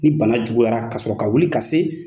Ni bana juguyara ka sɔrɔ ka wuli ka se